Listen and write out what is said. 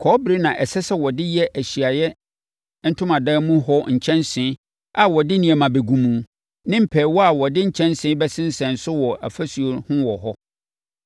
Kɔbere na ɛsɛ sɛ wɔde yɛ Ahyiaeɛ Ntomadan mu hɔ nkyɛnsee a wɔde nneɛma gu mu, ne mpɛɛwa a wɔde nkyɛnsee bɛsensɛn so wɔ ɔfasuo ho wɔ hɔ.